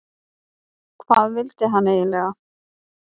Hvað vildi hann eiginlega?